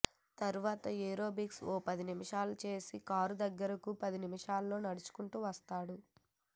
తర్వాత ఏరోబిక్స్ ఓ పది నిమిషాలు చేసి కారు దగ్గరకి ఒక పదినిమిషాల్లో నడుచుకుంటూ వస్తాడు